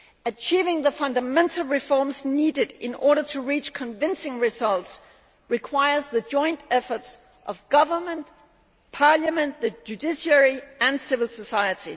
Achieving the fundamental reforms needed in order to reach convincing results requires the joint efforts of government, parliament, the judiciary and civil society.